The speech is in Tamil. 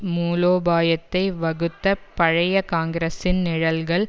மூலோபாயத்தை வகுத்த பழைய காங்கிரஸின் நிழல்கள்